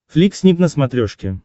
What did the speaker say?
флик снип на смотрешке